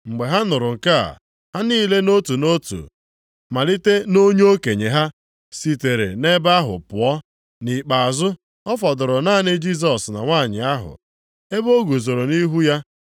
Mgbe ha nụrụ nke a, ha niile nʼotu nʼotu, malite nʼonye okenye ha, sitere nʼebe ahụ pụọ. Nʼikpeazụ, ọ fọdụrụ naanị Jisọs na nwanyị ahụ, ebe o guzoro nʼihu ya.